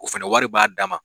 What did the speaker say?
U fɛnɛ wari b'a dama.